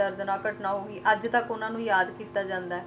ਇੰਨੀ ਦਰਦਨੱਕ ਘਟਨਾ ਹੋਗੀ ਅੱਜ ਤੱਕ ਉਹਨਾਂ ਨੂੰ ਕੀਤਾ ਜਾਂਦਾ ਆ।